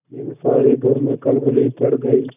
फिर सारे घर में खलबली पड़ गयी